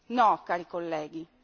No, cari colleghi!